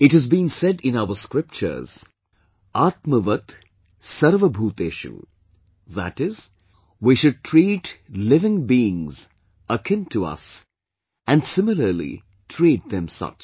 It has been said in our scriptures 'Atmavat Sarvabhuteshu', that is, we should treat living beings akin to us and similarlytreatthem such